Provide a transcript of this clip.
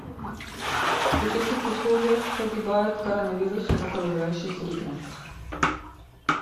при каких условиях погибает коронавирус в окружающей среде